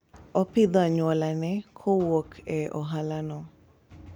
analisha familia yake kutokana na hiyo biashara